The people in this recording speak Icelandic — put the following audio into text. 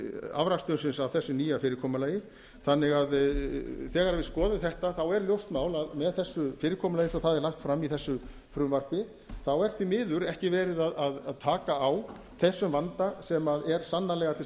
afrakstursins af þessu nýja fyrirkomulagi þannig að þegar við skoðum þetta er ljóst mál að með þessu fyrirkomulagi eins og það er lagt fram í þessu frumvarpi er því miður ekki verið að taka á þessum vanda sem er sannarlega til